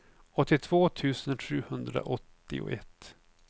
åttiotvå tusen sjuhundraåttioett